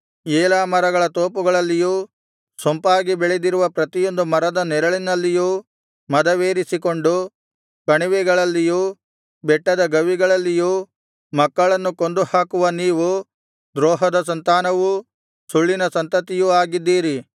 ಏಲಾ ಮರಗಳ ತೋಪುಗಳಲ್ಲಿಯೂ ಸೊಂಪಾಗಿ ಬೆಳೆದಿರುವ ಪ್ರತಿಯೊಂದು ಮರದ ನೆರಳಿನಲ್ಲಿಯೂ ಮದವೇರಿಸಿಕೊಂಡು ಕಣಿವೆಗಳಲ್ಲಿಯೂ ಬೆಟ್ಟದ ಗವಿಗಳಲ್ಲಿಯೂ ಮಕ್ಕಳನ್ನು ಕೊಂದುಹಾಕುವ ನೀವು ದ್ರೋಹದ ಸಂತಾನವೂ ಸುಳ್ಳಿನ ಸಂತತಿಯೂ ಆಗಿದ್ದೀರಿ